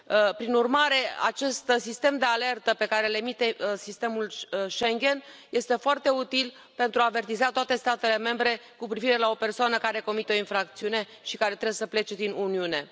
Prin urmare, acest sistem de alertă pe care îl emite sistemul Schengen este foarte util pentru a avertiza toate statele membre cu privire la o persoană care comite o infracțiune și care trebuie să plece din Uniune.